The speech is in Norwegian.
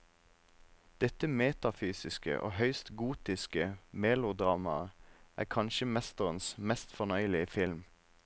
Dette metafysiske og høyst gotiske melodramaet er kanskje mesterens mest fornøyelige film.